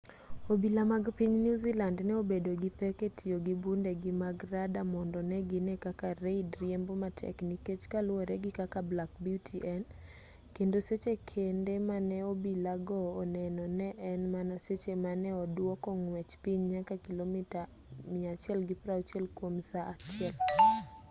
obila mag piny newzealand ne obedo gi pek e tiyo gi bundegi mag rada mondo ne gine kaka reid riembo matek nikech kaluwore gi kaka black beauty en kendo seche kende mane obila go onene ne en mana seche mane oduoko ng'wech piny nyaka kilomita 160 kwom saa achiel